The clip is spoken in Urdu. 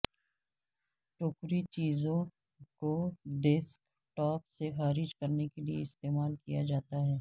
ٹوکری چیزوں کو ڈیسک ٹاپ سے خارج کرنے کے لئے استعمال کیا جاتا ہے